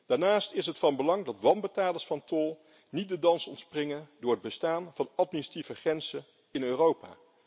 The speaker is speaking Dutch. Daarnaast is het van belang dat wanbetalers van tol niet de dans ontspringen door het bestaan van administratieve grenzen in Europa.